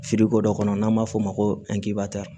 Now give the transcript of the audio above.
Firirikodɔ kɔnɔ n'an b'a f'o ma ko angibarita